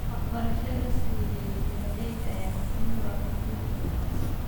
Waxbarasho la siiyo beeralayda ayaa muhiim u ah horumarka wanaagsan.